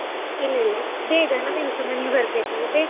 ಇಲ್ಲ ಇಲ್ಲ, ಬೇಗ ನಮಿಗುಸ ಮನೆಗೆ ಬರ್ಬೇಕಲ್ಲ.